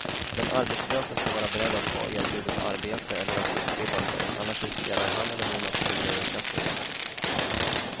Den arbetslöse ska vara beredd att ta erbjudet arbete eller att utbilda sig, annars riskerar han eller hon att förlora ersättningen.